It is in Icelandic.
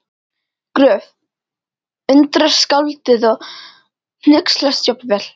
Gröf- undrast skáldið og hneykslast jafnvel